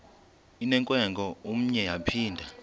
inewenkwe umnwe yaphinda